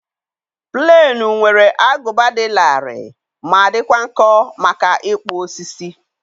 Plenụ nwere agụba dị larịị ma dịkwa nkọ maka ịkpụ osisi.